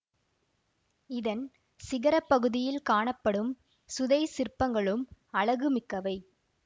இதன் சிகரப் பகுதியில் காணப்படும் சுதைச் சிற்பங்களும் அழகுமிக்கவை